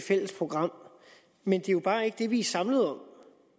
fælles program men det er jo bare ikke det vi er samlet om